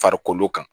Farikolo kan